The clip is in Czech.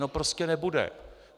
No prostě nebude.